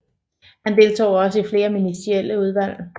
Han deltog også i flere ministerielle udvalg